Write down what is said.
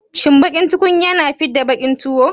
Shin baƙin tukunya na fidda baƙin tuwo.